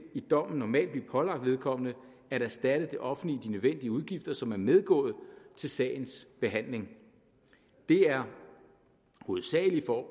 i dommen normalt blive pålagt vedkommende at erstatte det offentlige de nødvendige udgifter som er medgået til sagens behandling det er hovedsagelig